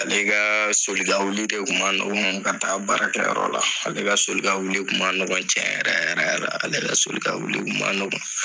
Ale ka soli ka wuli de kun ma ɲɔgɔn ka taa baara kɛ yɔrɔ la . Ale ka soli ka wuli kun ma ɲɔgɔn tiɲɛ yɛrɛ yɛrɛ la, ale ka soli ka wuli kun ma nɔgɔn.